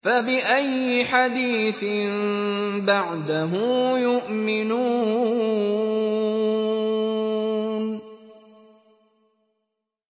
فَبِأَيِّ حَدِيثٍ بَعْدَهُ يُؤْمِنُونَ